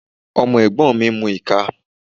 Ọmọ ẹ̀gbọ́n mi ń mu ìka.